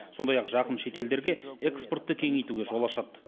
сондай ақ жақын шетелдерге экспортты кеңейтуге жол ашады